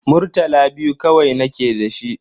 Murtala biyu kawai nake da shi.